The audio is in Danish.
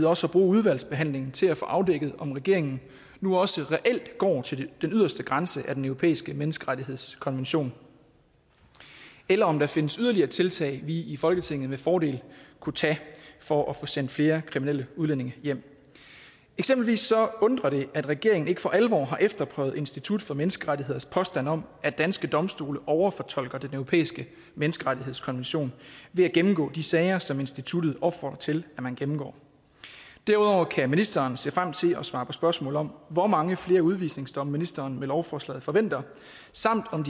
også at bruge udvalgsbehandlingen til at få afdækket om regeringen nu også reelt går til den yderste grænse af den europæiske menneskerettighedskonvention eller om der findes yderligere tiltag vi i folketinget med fordel kunne tage for at få sendt flere kriminelle udlændinge hjem eksempelvis undrer det at regeringen ikke for alvor har efterprøvet institut for menneskerettigheders påstand om at danske domstole overfortolker den europæiske menneskerettighedskonvention ved at gennemgå de sager som instituttet opfordrer til man gennemgår derudover kan ministeren se frem til at svare på spørgsmål om hvor mange flere udvisningsdomme ministeren med lovforslaget forventer samt om